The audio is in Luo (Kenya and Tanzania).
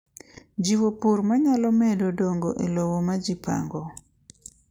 Ojiwo pur ma nyalo medo dongo e lowo ma ji pango.